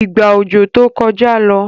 Ìgbà ọjọ tó kọjá ló.